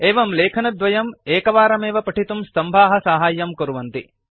एवं लेखनद्वयं एकवारमेव पठितुं स्तम्भाः साहाय्यं कुर्वन्ति